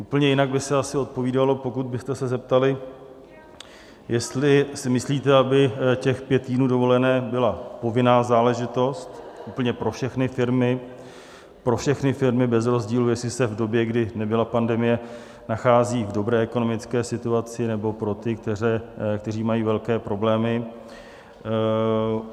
Úplně jinak by se asi odpovídalo, pokud byste se zeptali, jestli si myslíte, aby těch pět týdnů dovolené byla povinná záležitost úplně pro všechny firmy, pro všechny firmy bez rozdílu, jestli se v době, kdy nebyla pandemie, nachází v dobré ekonomické situaci, nebo pro ty, kteří mají velké problémy.